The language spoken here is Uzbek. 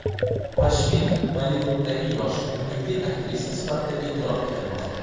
Pashmina Bollivuddagi yosh, umidli aktrisa sifatida e’tirof etilmoqda.